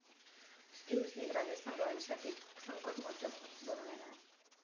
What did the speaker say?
Steve Smith Rajasthan रॉयल्ससाठी संकटमोचक बनून येणार!